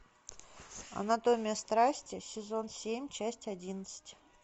анатомия страсти сезон семь часть одиннадцать